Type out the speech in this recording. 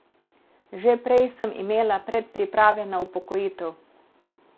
Že prej sem imela predpriprave na upokojitev.